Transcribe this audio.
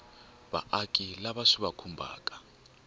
vaaki lava swi va khumbhaka